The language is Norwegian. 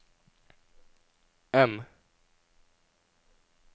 M